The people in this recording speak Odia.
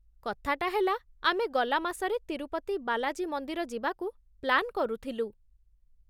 କଥାଟା ହେଲା, ଆମେ ଗଲା ମାସରେ ତିରୁପତି ବାଲାଜୀ ମନ୍ଦିର ଯିବାକୁ ପ୍ଲାନ୍ କରୁଥିଲୁ ।